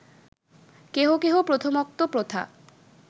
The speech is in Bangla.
কেহ কেহ প্রথমোক্ত প্রথা